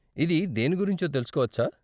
ఇది దేని గురించో తెలుసుకోవచ్చా?